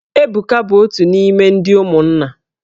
Ebuka bụ otu n'ime ndị ụmụnna.